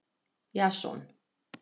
Jason